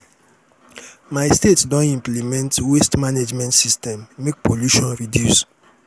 my state don implement waste management system make pollution reduce.